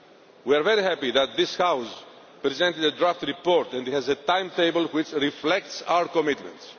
Guard. We are very happy that this House has presented a draft report and has a timetable which reflects our commitments.